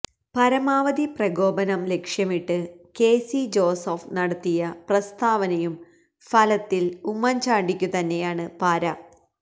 പരമാവധി പ്രകോപനം ലക്ഷ്യമിട്ട് കെ സി ജോസഫ് നടത്തിയ പ്രസ്താവനയും ഫലത്തില് ഉമ്മന്ചാണ്ടിക്കുതന്നെയാണ് പാര